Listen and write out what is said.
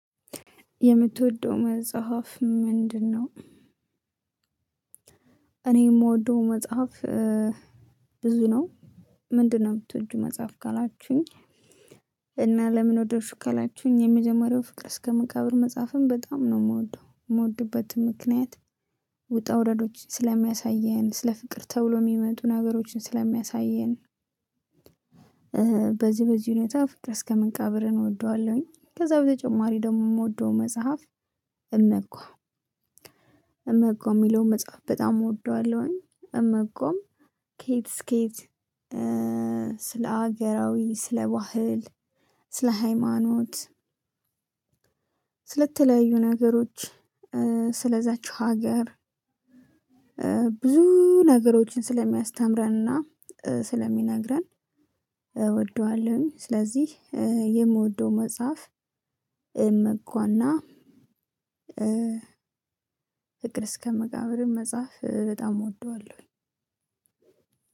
የምትወደው መጽሐፍ ምንድነው? እኔ የምወደው መጽሐፍ ብዙ ነው፤ ምንድነው የምትወጂ መጽሐፍ? ካላችሁኝ እና ለምን ወደድሽው? ካላችሁኝ የሚጀመርያው ፍቅር እስከ መካብር መጽሐፍም በጣም ነው የምወደው፤ የምወድበትም ምክንያት ውጣ ውረዶችን ስለሚያሳየን ስለ ፍቅር ተብሎ የሚመጡ ነገሮችን ስለሚያሳየን በዚህ በዚህ ሁኔታ ፍቅር እስከ መቃብርን እወደዋለሁኝ ከዛ በተጨማሪ ደግሞ የምወደው መጽሐፍ እመጓ እመጓ የሚለውን መጽሐፍ በጣም እወደዋለሁኝ እመጓም ኬት እሰከ የት ስለ ሀገራዊ ስለ ባህል ስለ ሃይማኖት ስለተለያዩ ነገሮች ስለዛች ሀገር ብዙ ነገሮችን ስለሚያስተምረንና ስለሚነግረን እወደዋለሁ ስለዚህ የምወደው መጽሐፍ እመጓ እና ፍቅር እስከ መቃብርም መጻፍ በጣም እወደዋለሁኝ